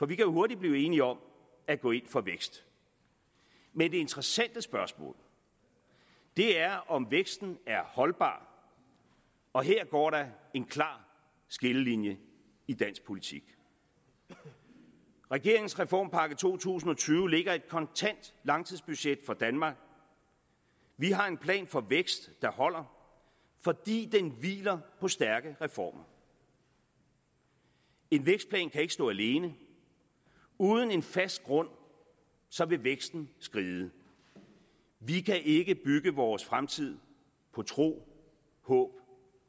vi kan hurtigt blive enige om at gå ind for vækst men det interessante spørgsmål er om væksten er holdbar og her går der en klar skillelinje i dansk politik regeringens reformpakke to tusind og tyve lægger et kontant langtidsbudget for danmark vi har en plan for vækst der holder fordi den hviler på stærke reformer en vækstplan kan ikke stå alene uden en fast grund vil væksten skride vi kan ikke bygge vores fremtid på tro håb